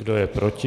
Kdo je proti?